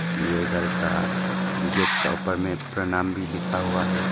ये घर का गेट का ऊपर में प्रणाम भी लिखा हुआ है।